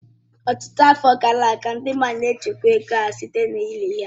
Ọtụtụ afọ gara aga, ndị mmadụ n'echekwa ego ha site na-ili ya.